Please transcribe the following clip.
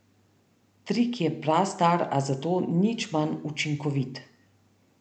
Trik je prastar, a zato nič manj učinkovit.